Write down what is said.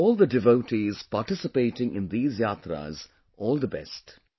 I wish all the devotees participating in these Yatras all the best